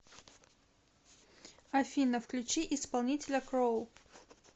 афина включи исполнителя кроу